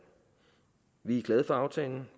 vi er glade for aftalen